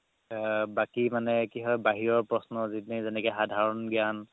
এ বাকি মানে কি হয় বাহিৰৰ প্ৰশ্ন সাধৰণ গ্যান